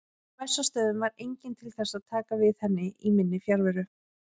Á Bessastöðum var enginn til þess að taka við henni í minni fjarveru.